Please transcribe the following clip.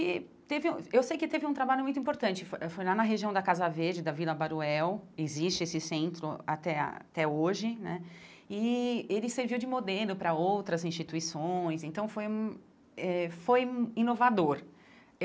E teve eu sei que teve um trabalho muito importante, foi foi lá na região da Casa Verde, da Vila Baruel, existe esse centro até ah até hoje né, e ele serviu de modelo para outras instituições, então foi hum eh foi inovador.